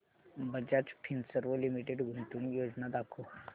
Bajaj Finserv limited गुंतवणूक योजना दाखव